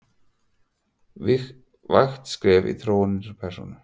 vægt skref í þróun nýrrar persónu.